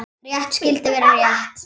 Rétt skyldi vera rétt.